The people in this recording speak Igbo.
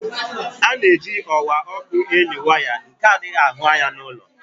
Ana-eji ọwa ọkụ eli waya nke adighi ahụ anya n'ulọ.